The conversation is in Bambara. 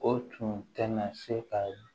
O tun tɛna se ka